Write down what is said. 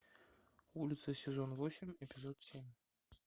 улица сезон восемь эпизод семь